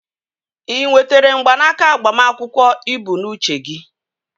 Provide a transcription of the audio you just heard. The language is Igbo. Ị nwetere mgbanaka agbamakwụkwọ ị bụ n'uche gị?